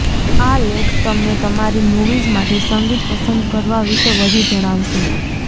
આ લેખ તમને તમારી મૂવીઝ માટે સંગીત પસંદ કરવા વિશે વધુ જણાવશે